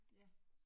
Ja